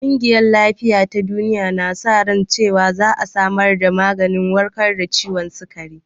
Ƙungiyar lafiya ta duniya na sa ran cewan za a samar da maganin warkar da ciwon sikari